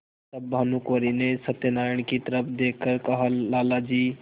तब भानुकुँवरि ने सत्यनारायण की तरफ देख कर कहालाला जी